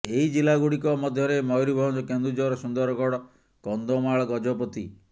ଏହି ଜିଲ୍ଲା ଗୁଡିକ ମଧ୍ୟରେ ମୟୂରଭଞ୍ଜ କେନ୍ଦୁଝର ସୁନ୍ଦରଗଡ କନ୍ଧମାଳ ଗଜପତି